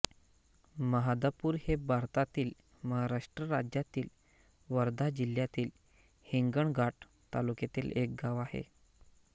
महादापूर हे भारतातील महाराष्ट्र राज्यातील वर्धा जिल्ह्यातील हिंगणघाट तालुक्यातील एक गाव आहे